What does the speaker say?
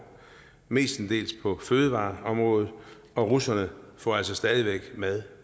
mestendels på fødevareområdet og russerne får altså stadig væk mad